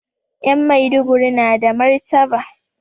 Ƴan Maiduguri na da martaba